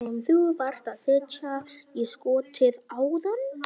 Sem þú varst að setja í skottið áðan?